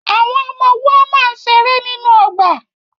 Àwọn ọmọ woama ń ṣeré nínú ọgbà